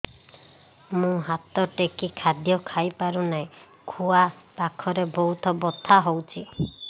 ମୁ ହାତ ଟେକି ଖାଦ୍ୟ ଖାଇପାରୁନାହିଁ ଖୁଆ ପାଖରେ ବହୁତ ବଥା ହଉଚି